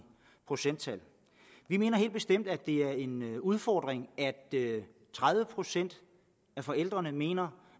procenttal vi mener helt bestemt at det er en udfordring at tredive procent af forældrene mener